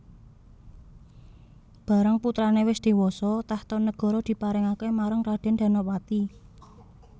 Barang putrané wis dhéwasa tahta negara diparingaké marang Radèn Danapati